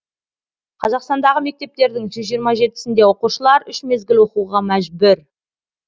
қазақстандағы мектептердің жүз жиырма жетісінде оқушылар үш мезгіл оқуға мәжбүр